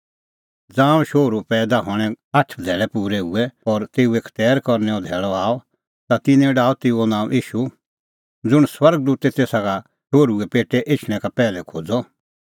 ज़ांऊं शोहरूए पैईदा हणें आठ धैल़ै पूरै हुऐ और तेऊए खतैर करनैओ धैल़अ आअ ता तिन्नैं डाहअ तेऊ नांअ ईशू ज़ुंण स्वर्ग दूते तेसा का शोहरू पेटै एछणैं का पैहलै खोज़अ त